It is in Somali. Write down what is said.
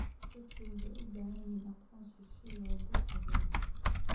Dadku waxay u baahan yihiin aqoonsi si loogu adeego.